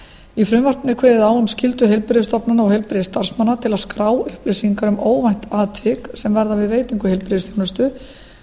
í frumvarpinu er kveðið á um skyldur heilbrigðisstofnana og heilbrigðisstarfsmanna til að skrá upplýsingar um óvænt atvik sem verða við veitingu heilbrigðisþjónustu